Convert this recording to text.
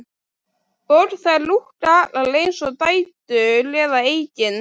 Og þær lúkka allar eins og dætur eða eigin